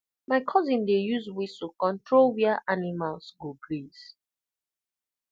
my cousin dey use whistle control where animals go graze